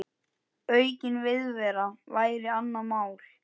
Aukin viðvera væri annað mál.